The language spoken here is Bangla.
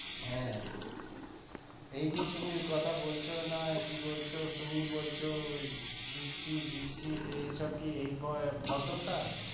হ্যাঁ এই যে তুমি কথা বলছো না কি বলছো তুমি বলছো দিচ্ছি দিচ্ছি সেইসব কি এই ভদ্রতা